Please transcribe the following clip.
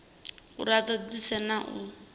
uri a ṱoḓisise na u